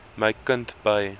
my kind by